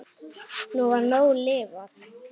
Nú var nóg lifað.